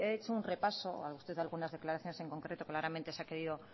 he hecho un repaso con algunas declaraciones en concreto usted claramente se ha querido